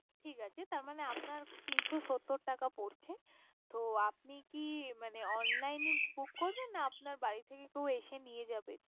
ঠিক আছে। তার মানে আপনার তিনশো সত্তর টাকা পরছে। তো আপনি কি Online book করবেন। না আপনার বাড়ি থেকে কেউ এসে নিয়ে যাবে।